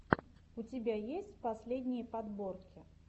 у тебя есть последние подборки